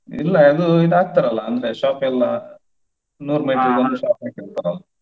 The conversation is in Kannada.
ಇಲ್ಲ ಅದು ಇದು ಹಾಕ್ತಾರಲ್ಲ ಅಂದ್ರೆ shop ಎಲ್ಲಾ ನೂರು meter ಈಗೆ ಒಂದು shop ಹಾಕಿರ್ತಾರೆ ಅಲ್ಲ.